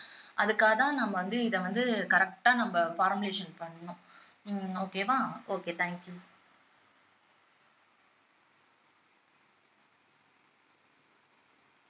அதுக்காகத்தான் நம்ம வந்து இதை வந்து correct ஆ நம்ம formulation பண்ணணும் ஹம் okay வா okay thank you